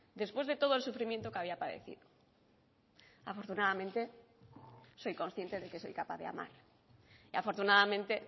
después de todo el sufrimiento que había padecido afortunadamente soy consciente de que soy capaz de amar y afortunadamente